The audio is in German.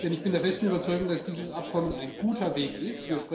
Denn ich bin der festen Überzeugung, dass dieses Abkommen ein guter Weg ist.